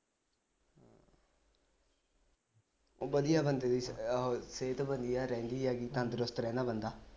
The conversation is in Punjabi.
ਵਧੀਆ ਬੰਦੇ ਦੀ ਆਹ ਸਿਹਤ ਬਣੀ ਆ ਰਹਿੰਦੀ ਹੈਗੀ ਤੰਦਰੁਸਤ ਰਹਿੰਦਾ ਬੰਦਾ